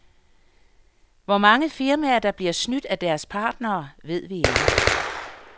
Hvor mange firmaer, der bliver snydt af deres partnere, ved vi ikke.